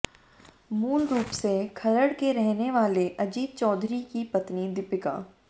मूल रूप से खरड़ के रहने वाले अजीत चौधरी की पत्नी दीपिका